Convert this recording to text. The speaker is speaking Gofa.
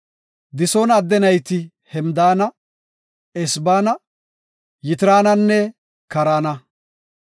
Disoona adde nayti Hemdaana, Esbaana, Yitraananne Kaarana.